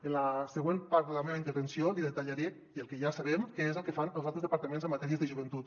en la següent part de la meva intervenció li detallaré i el que ja sabem què és el que fan els altres departaments en matèries de joventut